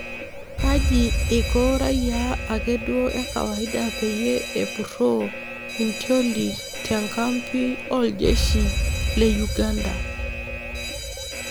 Kaji iko raayia akeduo ekawaida peyie epurroo intioli Te enkapi ooljeshi le Uganda